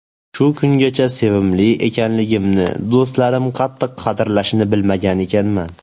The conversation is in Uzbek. Shu kungacha sevimli ekanligimni, do‘stlarim qattiq qadrlashini bilmagan ekanman.